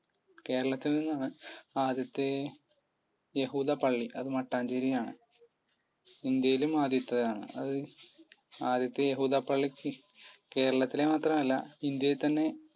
കേരളത്തിൽ നിന്നാണ് ആദ്യത്തെ യഹൂദ പള്ളി. അത് മട്ടാഞ്ചേരിയാണ് ഇന്ത്യയിലും ആദ്യത്തെയാണ് അത് ആദ്യത്തെ യഹൂദ പള്ളിക്ക് കേരളത്തിലെ മാത്രമല്ല ഇന്ത്യയിൽ തന്നെ